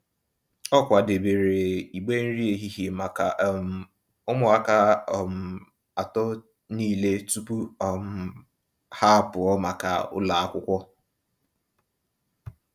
O kwadebere igbe nri ehihie maka um ụmụaka um atọ niile tupu um ha apụọ maka ụlọ akwụkwọ.